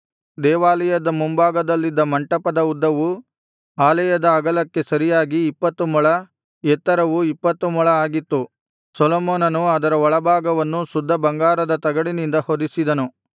ದೇವಾಲಯದ ಮುಂಭಾಗದಲ್ಲಿದ್ದ ಮಂಟಪದ ಉದ್ದವು ಆಲಯದ ಅಗಲಕ್ಕೆ ಸರಿಯಾಗಿ ಇಪ್ಪತ್ತು ಮೊಳ ಎತ್ತರವು ಇಪ್ಪತ್ತು ಮೊಳ ಆಗಿತ್ತು ಸೊಲೊಮೋನನು ಅದರ ಒಳಭಾಗವನ್ನು ಶುದ್ಧ ಬಂಗಾರದ ತಗಡಿನಿಂದ ಹೊದಿಸಿದನು